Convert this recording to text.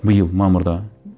биыл мамырда